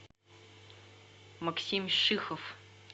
максим шихов